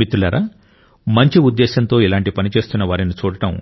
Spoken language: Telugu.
మిత్రులారా మంచి ఉద్దేశ్యంతో ఇలాంటి పని చేస్తున్న వారిని చూడటం